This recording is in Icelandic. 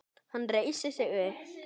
Hann reisir sig upp.